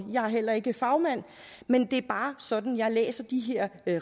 er heller ikke fagmand men det er bare sådan jeg læser de